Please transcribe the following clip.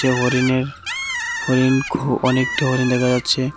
এ হরিণের হরিণ খু অনেকটা হরিণ দেখা যাচ্ছে।